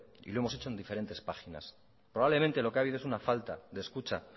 y lo hemos hecho en diferentes páginas probablemente lo que ha habido es una falta de escucha